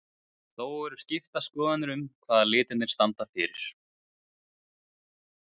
En þó eru skiptar skoðanir um hvað litirnir standa fyrir.